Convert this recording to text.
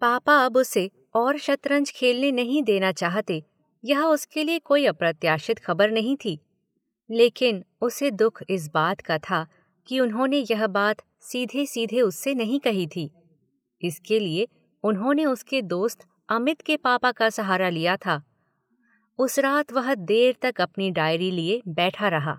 पापा अब उसे और शतरंज खेलने नहीं देना चाहते, यह उसके लिए कोई अप्रत्याशित ख़बर नहीं थी, लेकिन उसे दुख इस बात का था कि उन्होंने यह बात सीधे सीधे उससे नहीं कही थी, इसके लिए उन्होंने उसके दोस्त अमित के पापा का सहारा लिया था। उस रात वह देर तक अपनी डायरी लिए बैठा रहा।